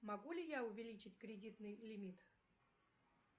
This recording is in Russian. могу ли я увеличить кредитный лимит